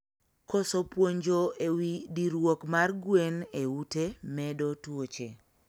Koso puonj e wii diruok mar gwen e ute medo tuoche